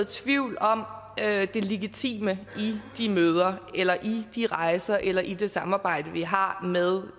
tvivl om det legitime i de møder eller i de rejser eller i det samarbejde vi har med